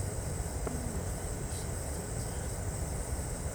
Tinye rapisyek che chang'.